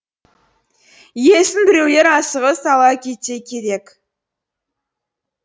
иесін біреулер асығыс ала кетсе керек